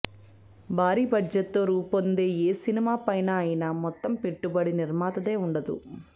భారీ బడ్జెట్ తో రూపొందే ఏ సినిమా పైన అయిన మొత్తం పెట్టుబడి నిర్మాతదే ఉండదు